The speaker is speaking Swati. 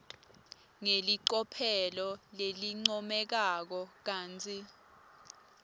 ngelicophelo lelincomekako kantsi